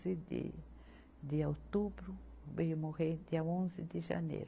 de outubro, veio morrer dia onze de janeiro.